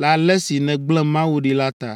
le ale si nègblẽ Mawu ɖi la ta.